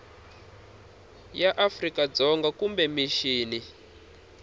ya afrika dzonga kumbe mixini